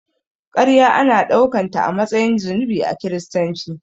Karya ana daukanta a matsayin zunubi a kiristanci.